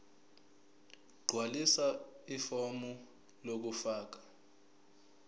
gqwalisa ifomu lokufaka